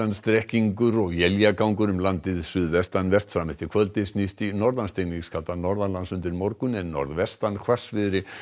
strekkingur og éljagangur um landið suðvestanvert fram eftir kvöldi snýst í norðan norðan lands undir morgun en norðvestan hvassviðri